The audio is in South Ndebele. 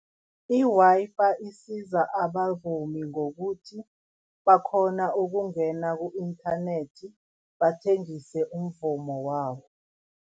I-Wi-Fi isiza abavumi ngokuthi bakghona ukungena ku-inthanethi bathengise umvumo wabo.